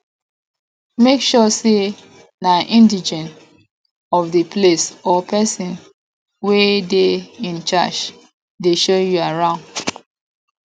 make sure say na indegene of di place or persin wey de in charge de show you arround